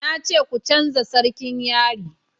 na ce ku canja sarkin yari!